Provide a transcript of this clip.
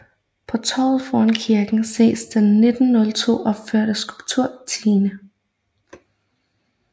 På torvet foran kirken ses den 1902 opførte skulptur Tine